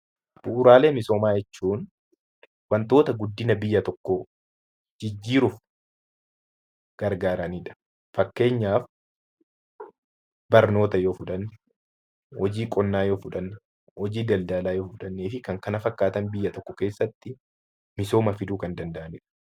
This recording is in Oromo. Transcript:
Bu'uuraalee misoomaa jechuun wantoota guddina biyya tokkoo jijjiiruuf gargaaranidha. Fakkeenyaaf barnoota yoo fudhanne hojii qonnaa hojii daldalaa yoo fudhannee fi kan kana fakkaatan biyya tokko keessatti misooma fiduu kan danda'anidha.